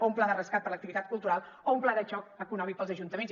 o un pla de rescat per a l’activitat cultural o un pla de xoc econòmic per als ajuntaments